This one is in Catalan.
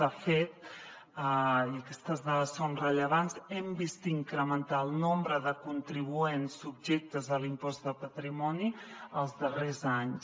de fet i aquestes dades són rellevants hem vist incrementar el nombre de contribuents subjectes a l’impost de patrimoni els darrers anys